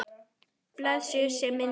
Blessuð sé minning Ólafíu.